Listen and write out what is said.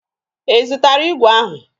Ị zụtara igwe ahụ?